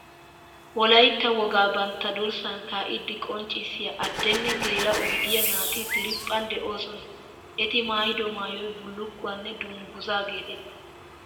Wolaitaa wogaa bantta durssan kaa"iiddi qonccissiya adde nne geela"o gidiya naati diriiphphan doosona. Eti maayido maayoy bullukkuwa nne dungguzaa geetettes.